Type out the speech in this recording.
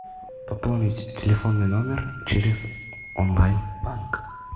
пополнить телефонный номер через онлайн банк